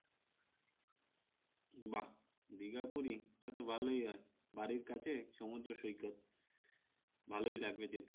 বাহ! দীঘা পুরি তাহলে তো ভালোই হয় বাড়ির কাছে সমুদ্র সৈকত ভালোই লাগবে যেতে